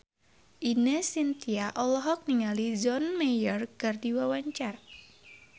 Ine Shintya olohok ningali John Mayer keur diwawancara